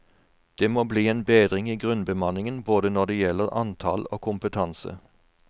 Det må bli en bedring i grunnbemanningen både når det gjelder antall og kompetanse.